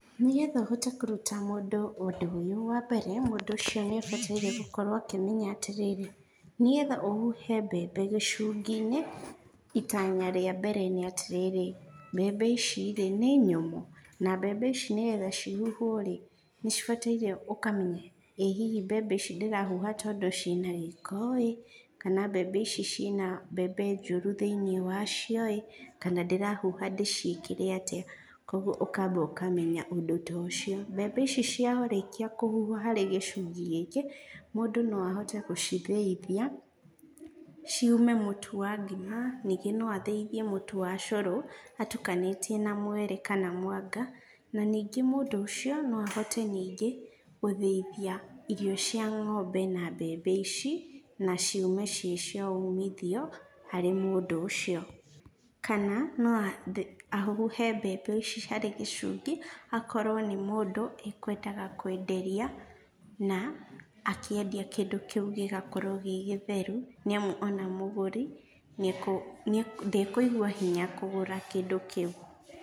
Nĩgetha ũhote kũruta mũndũ ũndũ ũyũ wambere, mũndũ ũcio nĩabataire gũkorwo akĩmenya atĩrĩrĩ, nĩgetha ũhuhe mbembe gĩcunginĩ, itana rĩa mbere nĩatĩrĩrĩ, mbembe ici rĩ, nĩ nyũmũ? na mbembe ici nĩgetha cihuhwo rĩ, nĩcibataire ũkamenya ĩ hihi mbembe ici ndĩrahuha tondũ ciĩna gĩko ĩ, kana mbembe ici ciĩna mbembe njũrũ thĩinĩ wacio ĩ, kana ndĩracihuha ndĩciĩkĩre atĩa. Koguo ũkamba ũkamenya ũndũ ta ũcio. Mbembe ici ciarĩkia kũhũhuo harĩ gĩcungi gĩkĩ, mũndũ no ahote gũcithĩithia, ciume mũtũ wa ngima, ningĩ no athĩithie mũtu wa cũrũ, atukanĩtie na mwere kana mwanga, na ningĩ mũndũ ũcio no ahote ningĩ gũthĩithia irio cia ngombe na mbembe ici, na ciume ciĩ cia umithio, harĩ mũndũ ũcio. Kana no a ahuhe mbembe ici harĩ gĩcungĩ, akorwo nĩ mũndũ ekwendaga kwenderia, na akĩendia kindũ kĩũ gĩgakorwo gĩ gĩtheru, nĩamu ona mũgũri nĩakũ ndekũigua hinya kũgũra kĩndũ kĩu.